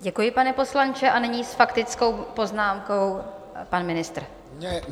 Děkuji, pane poslanče a nyní s faktickou poznámkou pan ministr.